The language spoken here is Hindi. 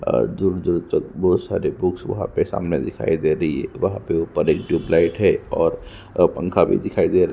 और दूर-दूर तक बहोत सारे बुक्स वहाँ पे सामने दिखाई दे रही है वहाँ पर एक ट्यूबलाइट है और पंखा भी दिखाई--